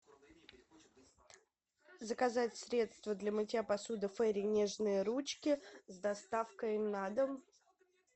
заказать средство для мытья посуды фейри нежные ручки с доставкой на дом